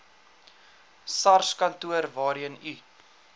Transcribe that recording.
sarskantoor waarheen u